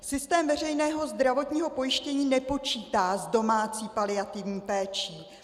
Systém veřejného zdravotního pojištění nepočítá s domácí paliativní péčí.